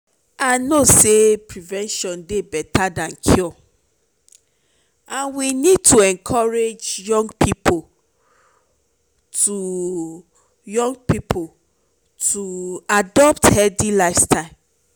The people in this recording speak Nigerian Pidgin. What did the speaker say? i know say prevention dey beta than cure and we need to encourage young people to young people to adopt healthy habits.